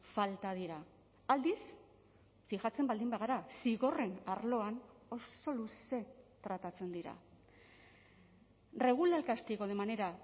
falta dira aldiz fijatzen baldin bagara zigorren arloan oso luze tratatzen dira regula el castigo de manera